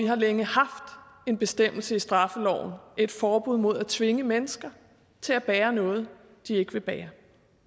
har længe haft en bestemmelse i straffeloven et forbud mod at tvinge mennesker til at bære noget de ikke vil bære